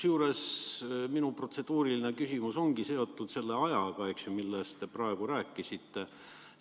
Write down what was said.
Minu protseduuriline küsimus ongi seotud selle ajaga, millest te praegu rääkisite.